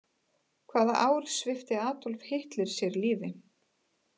Hvaða ár svipti Adolf Hitler sig lífi?